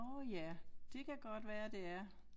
Nåh ja det kan godt være det er